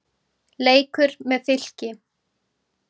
Leikur með Fylki.